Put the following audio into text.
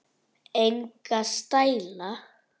Enga stæla